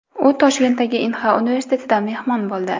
U Toshkentdagi Inha universitetida mehmon bo‘ldi .